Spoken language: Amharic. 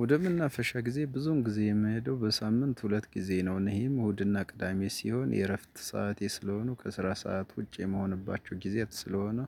ወደመናፈሻ ጊዜ ብዙን ጊዜ የምሄደው በሳምንት ሁለት ጊዜ ነው እነዚህም እሁድና ቅዳሜ ሲሆን የእረፍት ሰዓት ስለሆኑ ከስራ ሰዓት ውጪ የመሆንባቸው ጊዜያት ስለሆኑ